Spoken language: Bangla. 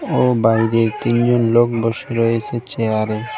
ও বাইরে তিনজন লোক বসে রয়েছে চেয়ারে।